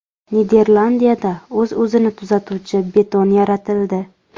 Niderlandiyada o‘z-o‘zini tuzatuvchi beton yaratildi.